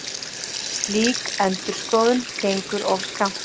Slík endurskoðun gengur of skammt.